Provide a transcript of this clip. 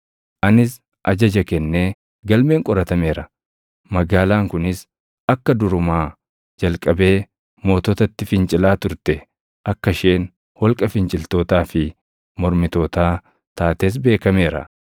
Anis ajaja kennee galmeen qoratameera; magaalaan kunis akka durumaa jalqabee moototatti fincilaa turte, akka isheen holqa finciltootaa fi mormitootaa taates beekameera.